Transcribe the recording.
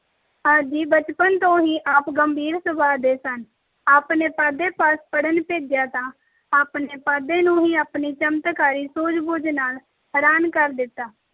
ਆਪ ਜੀ ਬਚਪਨ ਤੋਂ ਹੀ ਆਪ ਗੰਭੀਰ ਸੁਭਾਅ ਦੇ ਸਨ। ਆਪ ਨੂੰ ਪਾਂਧੇ ਪਾਸ ਪੜ੍ਹਨ ਭੇਜਿਆ, ਤਾਂ ਆਪ ਨੇ ਪਾਂਧੇ ਨੂੰ ਹੀ ਆਪਣੀ ਚਮਤਕਾਰੀ ਸੂਝ ਬੂਝ ਨਾਲ ਹੈਰਾਨ ਕਰ ਦਿੱਤਾ।